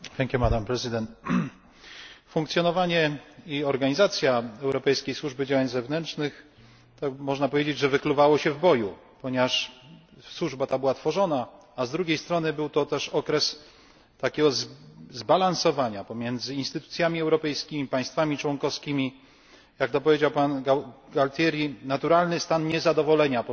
Pani Przewodnicząca! Funkcjonowanie i organizacja Europejskiej Służby Działań Zewnętrznych, można powiedzieć, wykluwały się w boju, ponieważ służba ta była tworzona, a z drugiej strony działo się to też w okresie takiego zbalansowania pomiędzy instytucjami europejskimi i państwami członkowskimi, które pan Gualtieri określił jako naturalny stan niezadowolenia